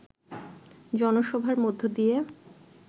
জনসভার মধ্য দিয়ে